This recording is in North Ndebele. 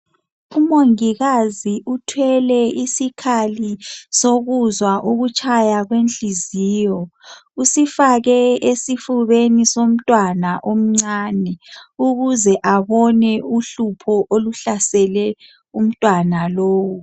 Umongikazi uthwele isikhali sokuzwa ukutshaya kwenhliziyo. Usifake esifubeni somntwana omncane ukuze abone uhlupho okuhlasele umntwana lowu.